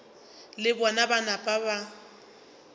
le bona ba napa ba